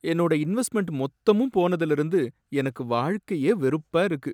என்னோட இன்வெஸ்ட்மெண்ட் மொத்தமும் போனதுல இருந்து எனக்கு வாழ்க்கையே வெறுப்பா இருக்கு!